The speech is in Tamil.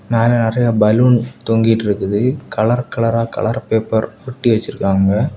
மேல நெறியா பலூன் தொகிட்டு இருக்குது கலர் கலரா கலர் பேப்பர் ஒட்டி வச்சிருக்காங்க.